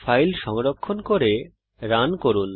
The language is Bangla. ফাইল সংরক্ষণ করে রান করুন